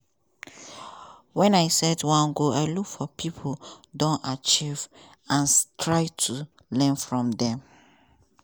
when i set one goal i look for pipo don achieve and try to learn from dem.